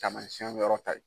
Tamasiɛn yɔrɔ ta ye.